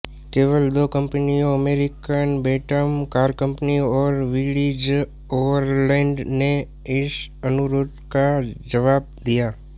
केवल दो कंपनियों अमेरिकन बैंटम कार कंपनी और विलीजओवरलैंड ने इस अनुरोध का जवाब दिया